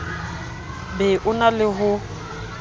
be o na le ho